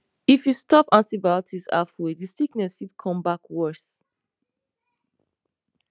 if you stop antibiotics halfway the sickness fit come back worse